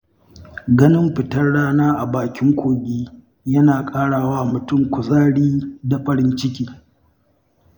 Ganin fitar rana a bakin kogi yana ƙara wa mutum kuzari da farin ciki.